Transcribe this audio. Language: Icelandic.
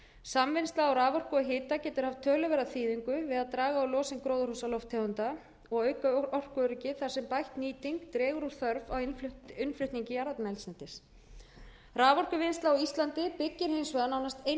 samvinnsla á raforku og hita getur haft töluverða þýðingu við að draga úr losun gróðurhúsalofttegunda og auka orkuöryggi þar sem bætt nýting dregur úr þörf á innflutningi jarðefnaeldsneytis raforkuvinnsla á íslandi byggir hins vegar nánast einvörðungu á nýtingu